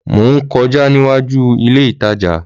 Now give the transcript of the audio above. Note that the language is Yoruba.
Mò ń kọjá níwájúu ilé ìtajà